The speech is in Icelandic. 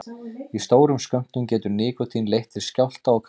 Í stórum skömmtum getur nikótín leitt til skjálfta og krampa.